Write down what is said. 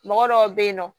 Mɔgɔ dɔw bɛ yen nɔ